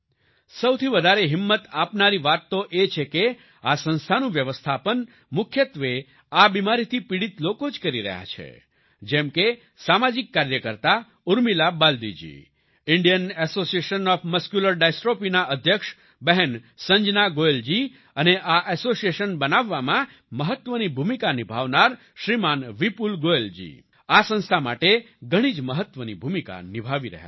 સૌથી વધારે હિંમત આપનારી વાત તો એ છે કે આ સંસ્થાનું વ્યવસ્થાપન મુખ્યત્વે આ બિમારીથી પીડિત લોકો જ કરી રહ્યા છે જેમ કે સામાજિક કાર્યકર્તા Urmila Baldi ji Indian association of muscular dystrophy ના અધ્યક્ષ બહેન સંજના ગોયલજી અને આ એસોસિએશન બનાવવામાં મહત્વની ભૂમિકા નિભાવનારા શ્રીમાન વિપુલ ગોયલ જી આ સંસ્થા માટે ઘણી જ મહત્વની ભૂમિકા નિભાવી રહ્યા છે